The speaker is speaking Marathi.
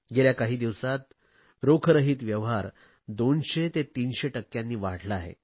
गेल्या काही दिवसात रोखरहित व्यवहार 200 ते 300 टक्क्यांनी वाढले आहेत